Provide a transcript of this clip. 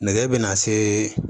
Nɛgɛ bɛna se